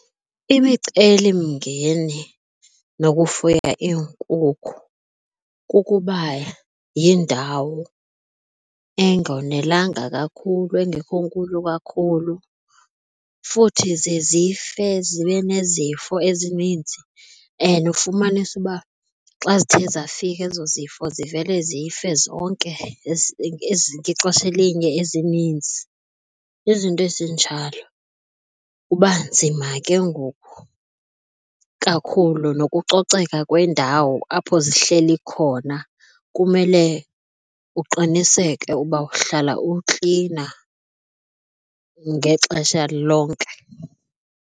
Imicelimngeni nokufuya iinkukhu kukuba yindawo engonelanga kakhulu engekho nkulu kakhulu futhi ziye zife zibe nezifo ezininzi and ufumanise uba xa zithe zafika ezo zifo zivele zife zonke ngexesha elinye ezininzi. Izinto ezinjalo kuba nzima ke ngoku kakhulu nokucoceka kwendawo apho zihleli khona kumele uqiniseke uba uhlala uklina ngexesha lonke.